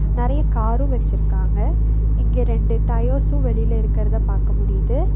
நறைய காரும் வெச்சிருக்காங்க இங்க ரெண்டு டயர்ஸ்சும் வெளில இருக்கிறத பாக்க முடியுது.